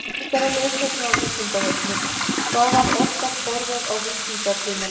Frekara lesefni á Vísindavefnum: Hvað var oftast borðað á víkingatímanum?